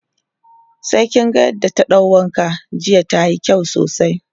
sai kin ga yadda ta ɗau wanka jiya tayi kyau sosai